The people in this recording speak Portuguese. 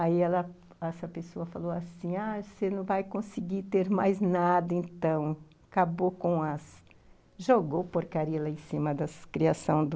Aí ela, essa pessoa falou assim, ah, você não vai conseguir ter mais nada então, acabou com as, jogou porcaria lá em cima das criação do...